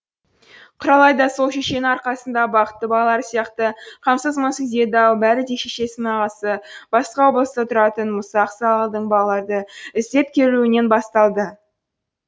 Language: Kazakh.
құралай да сол шешенің арқасында бақытты балалар сияқты қамсыз мұңсыз еді ау бәрі де шешесінің ағасы басқа облыста тұратын мұса ақсақалдың балалаарды іздеп келуінен басталды